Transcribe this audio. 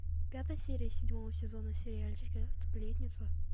пятая серия седьмого сезона сериальчика сплетница